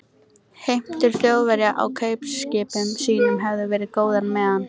Heimtur Þjóðverja á kaupskipum sínum höfðu verið góðar, meðan